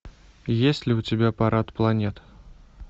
есть ли у тебя парад планет